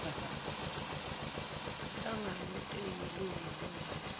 nhlangano eyilunga layo